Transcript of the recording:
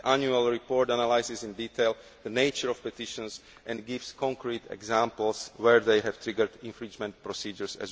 The annual report analyses in detail the nature of petitions and gives concrete examples where they have also triggered infringement procedures.